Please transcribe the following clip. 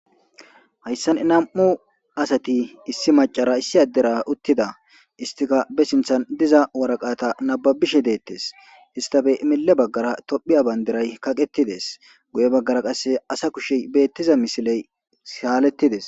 Hayssan nam,u asati issi macara issi addera uttida istika be sinthan diza waraqata nababishe deettes istafe mille baggara tophiya bandiray kaqettides guye baggara qasse asa kushe beettiza misiley saalettides.